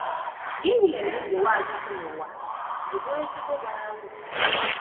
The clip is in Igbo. Gịnị mere ndụ Nwachukwu n’ụwa ji bụrụ ezigbo bara uru?